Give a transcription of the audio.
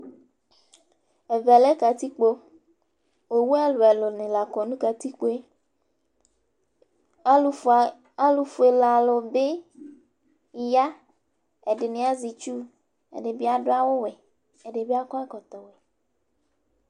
Ɛvɛ lɛ kǝtikpo, owu ɛlʋɛlʋ nɩ la kɔ nʋ kǝtikpoeAlʋ fuele alʋ bɩ ya: ɛdɩnɩ azɛ itsu, ɛdɩ bɩ adʋ awʋ wɛ, ɛdɩ bɩ akɔ ɛkɔtɔ